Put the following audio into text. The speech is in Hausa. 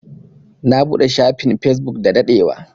Na buɗe shafin Facebook da daɗewa.